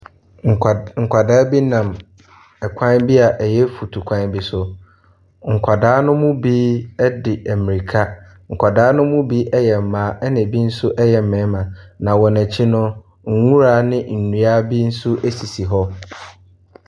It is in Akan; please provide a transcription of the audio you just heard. Nkwa nkwadaa bi nam ɛkwan bi a ɛyɛ futukwan bi so. Nkwadaa no mu bi edi mirika, nkwadaa no mu bi ɛyɛ mmaa ɛna ebi nso ɛyɛ mmarima. Na wɔn akyi no nwura ne nnua bi esisi hɔ.